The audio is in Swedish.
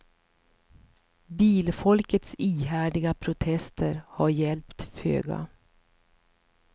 Bilfolkets ihärdiga protester har hjälpt föga.